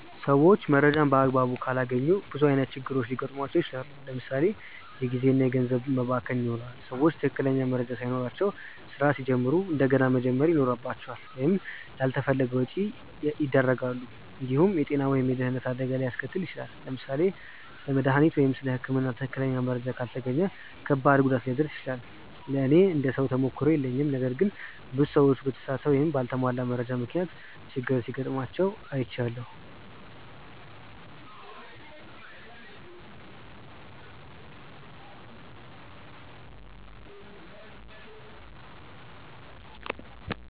ሰዎች መረጃን በአግባቡ ካላገኙ ብዙ ዓይነት ችግሮች ሊገጥሟቸው ይችላል። ለምሳ ሌ የጊዜ እና ገንዘብ መባከን ይኖራል። ሰዎች ትክክለኛ መረጃ ሳይኖራቸው ስራ ሲጀምሩ እንደገና መጀመር ይኖርባቸዋል ወይም ላልተፈለገ ወጪ ያደርጋሉ። እንዲሁም የጤና ወይም የደህንነት አደጋ ሊያስከትል ይችላል። ለምሳሌ ስለ መድሃኒት ወይም ስለ ህክምና ትክክለኛ መረጃ ካልተገኘ ከባድ ጉዳት ሊደርስ ይችላል። ለእኔ እንደ ሰው ተሞክሮ የለኝም ነገር ግን ብዙ ሰዎች በተሳሳተ ወይም በአልተሟላ መረጃ ምክንያት ችግር ሲጋጥማቸው አይቻለሁ።